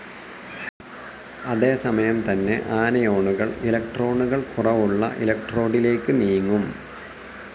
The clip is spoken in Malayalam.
അതേസമയം തന്നെ ആനയോണുകൾ ഇലക്ട്രോണുകൾ കുറവുള്ള ഇലക്ട്രോഡിലേക്ക് നീങ്ങും.